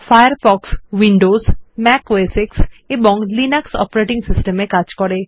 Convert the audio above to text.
Firefox Windows Mac OS X এবং Linux operating system এ কাজ করে